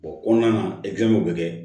O kɔnɔna na bɛ kɛ